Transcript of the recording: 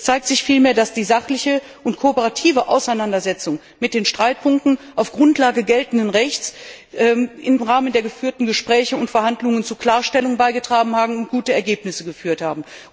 Es zeigt sich vielmehr, dass die sachliche und kooperative Auseinandersetzung mit den Streitpunkten auf der Grundlage des geltenden Rechts im Rahmen der geführten Gespräche und Verhandlungen zu Klarstellungen beigetragen und zu guten Ergebnissen geführt hat.